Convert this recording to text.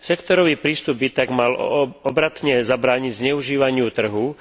Sektorový prístup by tak mal obratne zabrániť zneužívaniu trhu,